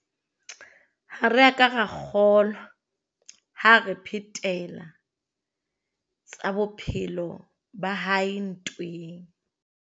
Ha re a ka ra kgolwa, ha a re phetela tsa bophelo ba hae ntweng.